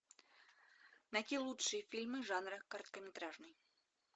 найти лучшие фильмы жанра короткометражный